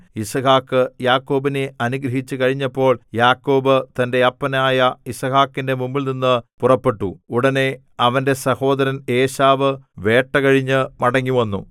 യിസ്ഹാക്ക് യാക്കോബിനെ അനുഗ്രഹിച്ചു കഴിഞ്ഞപ്പോൾ യാക്കോബ് തന്റെ അപ്പനായ യിസ്ഹാക്കിന്റെ മുമ്പിൽനിന്നു പുറപ്പെട്ടു ഉടനെ അവന്റെ സഹോദരൻ ഏശാവ് വേട്ട കഴിഞ്ഞു മടങ്ങിവന്നു